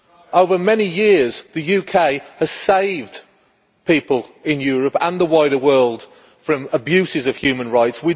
Over many years, the UK has saved people in Europe and the wider world from abuses of human rights.